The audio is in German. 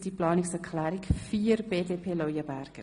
Sie haben auch Planungserklärung 4 abgelehnt.